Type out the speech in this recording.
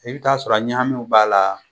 I bi t'a sɔrɔ ɲagamiw b'a la